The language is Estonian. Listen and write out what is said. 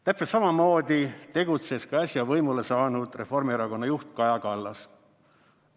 Täpselt samamoodi tegutses ka äsja võimule saanud Reformierakonna juht Kaja Kallas.